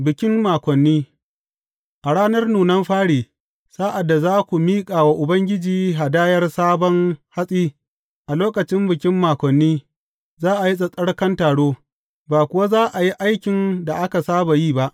Bikin Makoni A ranar nunan fari, sa’ad da za ku miƙa wa Ubangiji hadayar sabon hatsi, a lokacin Bikin Makoni, za a yi tsattsarkan taro, ba kuwa za a yi aikin da aka saba yi ba.